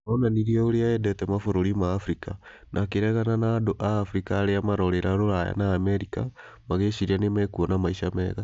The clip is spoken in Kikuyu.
Onanirie ũrĩa endete mabũrũri ma Abirika, na akĩregana na andũ a Abirika arĩa marorĩra Rũraya. na Amerika magĩciria nĩmakuona maisha mega